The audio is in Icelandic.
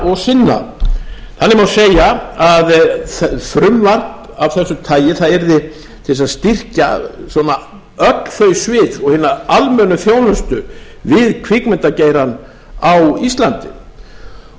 vinna og sinna þannig má segja að frumvarp af þessu tagi yrði til þess að styrkja svona öll þau svið og hina almennu þjónustu við kvikmyndageirann á íslandi